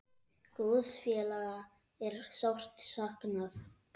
Góðs félaga er sárt saknað.